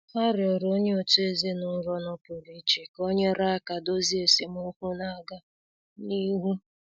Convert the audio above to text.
Ha rịọrọ onye otu ezinụlọ nọpụrụ iche ka o nyere aka dozie esemokwu na-aga n'ihu.